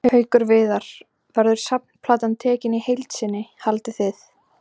Haukur Viðar: Verður safnplatan tekin í heild sinni haldið þið?